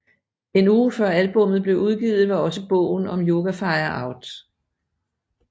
En uge før albummet blev udgivet var også bogen om Yoga Fire ud